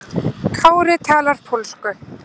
Kári talar pólsku.